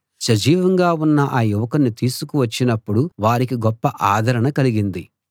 సజీవంగా ఉన్న ఆ యువకుణ్ణి తీసుకు వచ్చినప్పుడు వారికి గొప్ప ఆదరణ కలిగింది